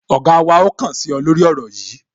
Ọ̀gá wa ó kàn sí ọ, lórí ọ̀rọ̀ yìí